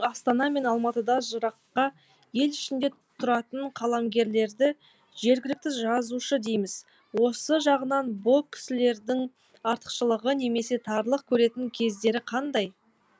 астана мен алматыда жыраққа ел ішінде тұратын қаламгерлерді жергілікті жазушы дейміз осы жағынан бұ кісілердің артықшылығы немесе тарлық көретін кездері қандай